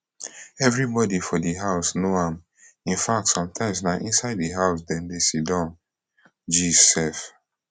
evribodi for di house know am in fact sometimes na inside di house dem dey sidon gist sef